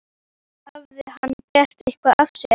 Hafði hann gert eitthvað af sér?